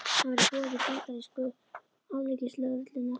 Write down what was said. Hann var í boði bandarísku alríkislögreglunnar.